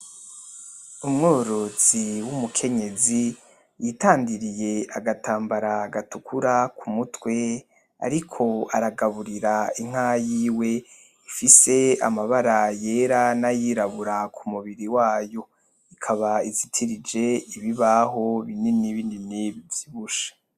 Umworozi w'umukenyezi yitandiriye agatambara gatukura kumutwe ariko aragaburira inka yiwe ifise amabara yera nayirabura kumubiri wayo, ikaba izitirije ibibaho binini binini bivyibushe